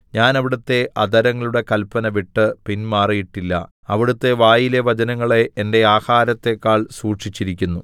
ഞാൻ അവിടുത്തെ അധരങ്ങളുടെ കല്പന വിട്ട് പിന്മാറിയിട്ടില്ല അവിടുത്തെ വായിലെ വചനങ്ങളെ എന്റെ ആഹാരത്തേക്കാൾ സൂക്ഷിച്ചിരിക്കുന്നു